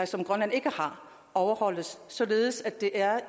som grønland ikke har overholdes således at det er